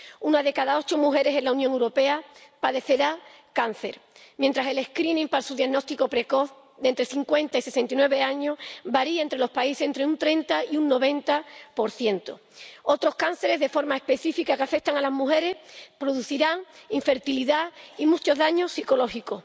Una de cada ocho mujeres en la Unión Europea padecerá cáncer, mientras el cribado para su diagnóstico precoz, entre los 50 y los 69 años, varía entre los países entre un 30 y un 90 Otros cánceres de forma específica que afectan a las mujeres producirán infertilidad y muchos daños psicológicos.